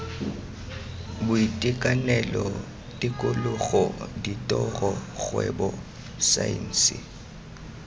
boitekanelo tikologo ditiro kgwebo saense